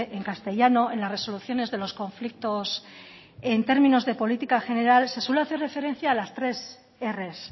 en castellano en las resoluciones de los conflictos en términos de política general se suele hacer referencia a las tres erres